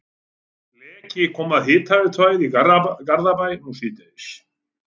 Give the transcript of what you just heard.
Leki kom að hitaveituæð í Garðabæ nú síðdegis.